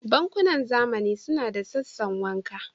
Bankunan zamani suna da sassan wanka.